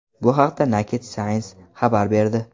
Bu haqda Naked Science xabar berdi .